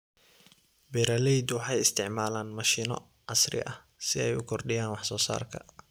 Beeraleydu waxay isticmaalaan mashiino casri ah si ay u kordhiyaan wax soo saarka.